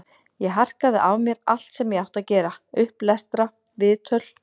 Ég harkaði af mér allt sem ég átti að gera, upplestra, viðtöl.